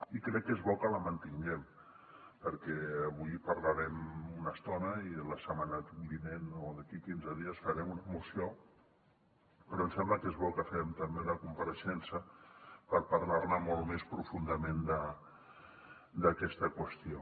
i crec que és bo que la mantinguem perquè avui parlarem una estona i la setmana vinent o d’aquí quinze dies farem una moció però ens sembla que és bo que fem també una compareixença per parlar molt més profundament d’aquesta qüestió